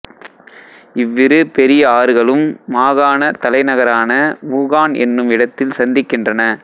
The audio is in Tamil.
இவ்விரு பெரிய ஆறுகளும் மாகாணத்தலைநகரான வுகான் என்னும் இடத்தில் சந்திக்கின்றன